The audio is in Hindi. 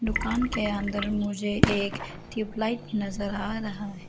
दुकान के अंदर मुझे एक ट्यूबलाइट नजर आ रहा है।